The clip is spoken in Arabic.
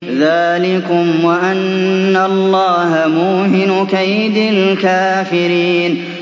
ذَٰلِكُمْ وَأَنَّ اللَّهَ مُوهِنُ كَيْدِ الْكَافِرِينَ